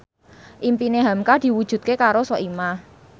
impine hamka diwujudke karo Soimah